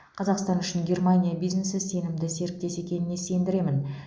қазақстан үшін германия бизнесі сенімді серіктес екеніне сендіремін